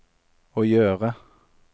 å gjøre